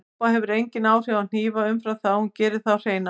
Sápa hefur engin áhrif á hnífa umfram þau að hún gerir þá hreina.